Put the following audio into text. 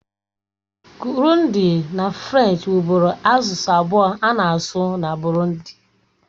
Kịrundi na Frenchi wubụru asụsụ abụọ a na-asụ na Burundi.